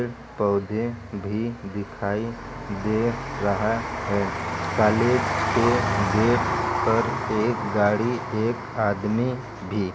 पौधे भी दिखाई दे रहा है। काले गेट पर एक गाड़ी एक आदमी भी।